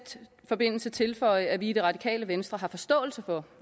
forbindelse tilføje at vi i det radikale venstre har forståelse for